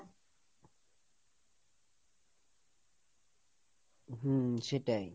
হম, সেটাই,